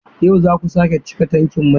Yau za ku sake cika tankin mai?